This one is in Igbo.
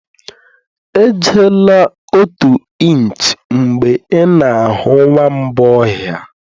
Ejila otu inch mgbe ị na-ahụ nwamba ọhịa